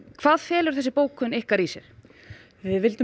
hvað felur bókun ykkar í sér við viljum